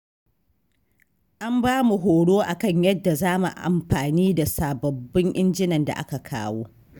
An ba mu horo a kan yadda za mu amfani da sababbin injinan da aka kawo.